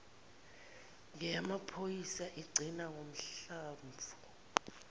ngeyamaphoyisa igcina ngohlamvu